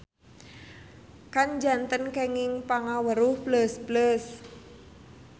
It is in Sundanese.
Kan janten kenging pangaweruh pleus-pleus.